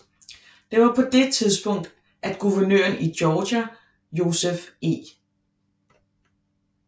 Det var på det tidspunkt at guvernøren i Georgia Joseph E